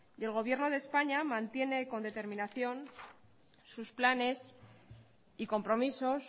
y el gobierno de españa mantiene con determinación sus planes y compromisos